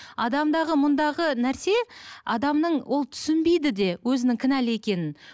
адамдағы мұндағы нәрсе адамның ол түсінбейді де өзінің кінәлі екенін